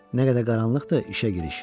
Nə qədər qaranlıqdır, işə giriş.